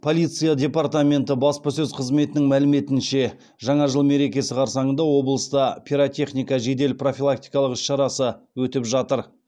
полиция департаменті баспасөз қызметінің мәліметінше жаңа жыл мерекесі қарсаңында облыста пиротехника жедел профилактикалық іс шарасы өтіп жатыр